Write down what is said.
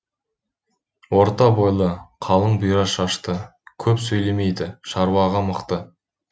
орта бойлы қалың бұйра шашты көп сөйлемейді шаруаға мықты